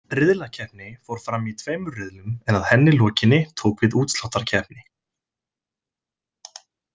Riðlakeppni fór fram í tveimur riðlum en að henni lokinni tók við útsláttarkeppni.